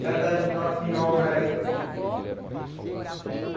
Cada enorme obra aí.